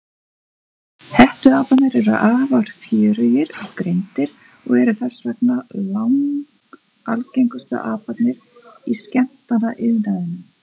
Hettuaparnir eru afar fjörugir og greindir og eru þess vegna langalgengustu aparnir í skemmtanaiðnaðinum.